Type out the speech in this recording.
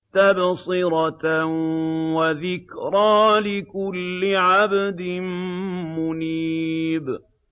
تَبْصِرَةً وَذِكْرَىٰ لِكُلِّ عَبْدٍ مُّنِيبٍ